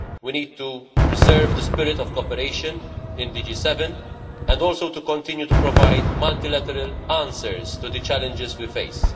We need to preserve the spirit of cooperation in the G7 and also to continue to provide multilateral answers to the challenges we face.